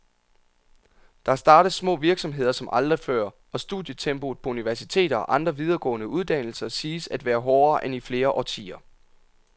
Der startes små virksomheder som aldrig før, og studietempoet på universiteter og andre videregående uddannelser siges at være hårdere end i flere årtier.